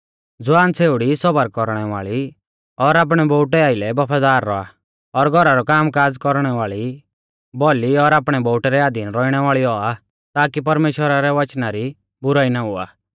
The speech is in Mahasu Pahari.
ज़वान छ़ेउड़ी सौबर कौरणै वाल़ी और आपणै बोउटै आइलै बफादार रौआ और घौरा रौ कामकाज़ कौरणै वाल़ी भौली और आपणै बोउटै रै अधीन रौइणै वाल़ी औआ ताकी परमेश्‍वरा रै वचना री बुराई ना हुआ